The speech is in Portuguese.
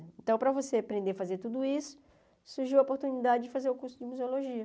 Então para você aprender a fazer tudo isso, surgiu a oportunidade de fazer o curso de museologia.